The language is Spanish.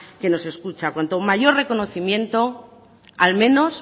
que nos escucha cuanto mayor reconocimiento al menos